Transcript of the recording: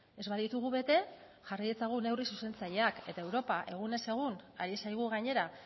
ez baditugu bete jarri ditzagun neurri zuzentzaileak eta europa egunez egun ari zaigu gainera